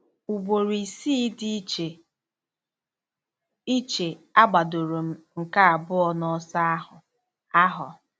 Ugboro isii dị iche iche, agbadoro m nke abụọ n'ọsọ ahụ. ahụ.